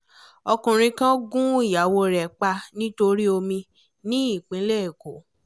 ọkùnrin kan gun ìyàwó rẹ̀ pa nítorí omi ní ìpínlẹ̀ èkó